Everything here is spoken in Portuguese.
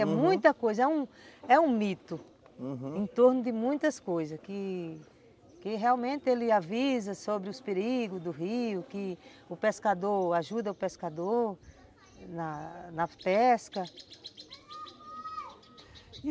É muita coisa, é um é um mito, uhum, em torno de muitas coisas, que que realmente ele avisa sobre os perigos do rio, que o pescador ajuda o pescador na na pesca.